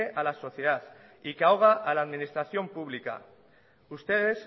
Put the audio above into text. a la sociedad y que ahoga a la administración pública ustedes